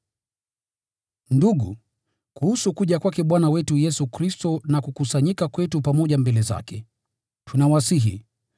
Ndugu, kuhusu kuja kwake Bwana wetu Yesu Kristo na kukusanyika kwetu pamoja mbele zake, tunawasihi,